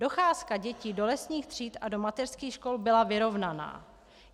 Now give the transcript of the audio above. Docházka dětí do lesních tříd a do mateřských škol byla vyrovnaná.